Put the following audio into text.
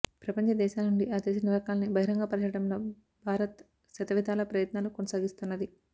ప్రపంచ దేశాలనుండి ఆ దేశ నిర్వాకాల్ని బహిరంగ పరచడంలో భారత్ శతవిధాలా ప్రయత్నాలు కొనసాగిస్తున్నది